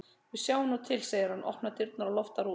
Við sjáum nú til, segir hann, opnar dyrnar og loftar út.